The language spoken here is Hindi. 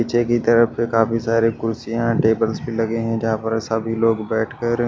पीछे की तरफ पे काफी सारे कुर्सियां टेबल्स भी लगे हैं जहां पर सभी लोग बैठ कर--